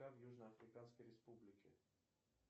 в южноафриканской республике